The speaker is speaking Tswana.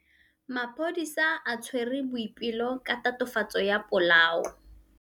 Maphodisa a tshwere Boipelo ka tatofatsô ya polaô.